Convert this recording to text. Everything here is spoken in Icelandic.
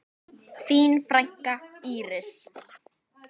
Þín frænka, Íris.